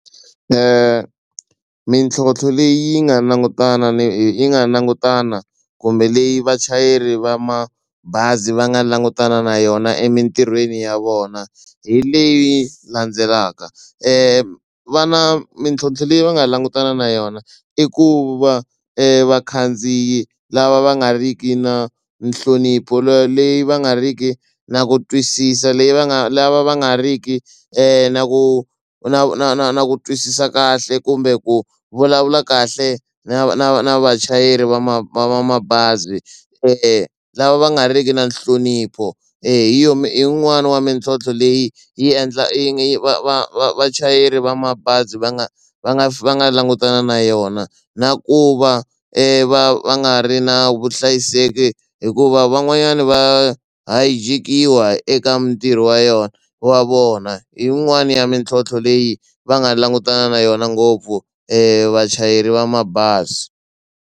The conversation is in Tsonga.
mitlhontlho leyi nga langutana yi nga langutana kumbe leyi vachayeri va mabazi va nga langutana na yona emitirhweni ya vona hi leyi landzelaka va na mitlhontlho leyi va nga langutana na yona i ku va vakhandziyi lava va nga ri ki na nhlonipho leyi va nga ri ki na ku twisisa leyi va nga lava va nga ri ki na ku na na na na ku twisisa kahle kumbe ku vulavula kahle na na na vachayeri va ma va mabazi lava va nga riki na nhlonipho hi yo i yin'wani ya mitlhontlho leyi yi endla yi va va va vachayeri va mabazi va nga va nga va nga langutana na yona na ku va va va nga ri na vuhlayiseki hikuva van'wanyana va hayijekiwa eka mintirho wa yona wa vona hi yin'wani ya mitlhontlho leyi va nga langutana na yona ngopfu vachayeri va mabazi.